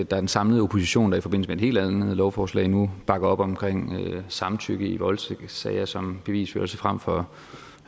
den samlede opposition i forbindelse med et helt andet lovforslag nu bakker op om samtykke i voldtægtssager som bevisbyrde frem for